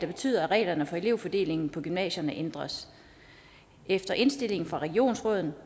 betyder at reglerne for elevfordelingen på gymnasierne ændres efter indstilling fra regionsrådet